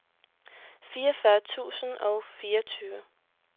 fireogfyrre tusind og fireogtyve